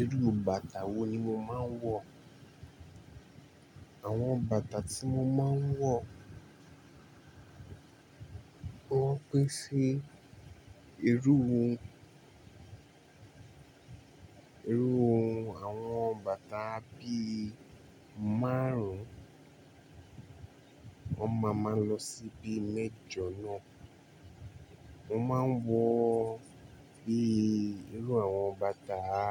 Irú bàtà wo ni mo máa ń wọ̀? Àwọn bàtà tí mo máa ń wọ̀ wọ́n pín sí irú ohun, irú ohun àwọn bàtà bí márùn-ún, wọ́n máa máa lọ sí bí mẹ́jọ náà. Mo máa ń wọ bí irú àwọn bàtà, à,